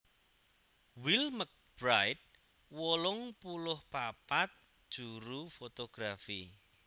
Will McBride wolung puluh papat juru fotografi